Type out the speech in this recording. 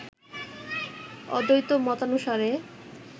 অদ্বৈত মতানুসারে